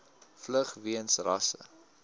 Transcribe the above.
vlug weens rasse